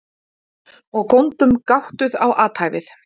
Og góndum gáttuð á athæfið.